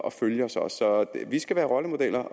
at følge os os så vi skal være rollemodeller